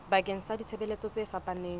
bakeng sa ditshebeletso tse fapaneng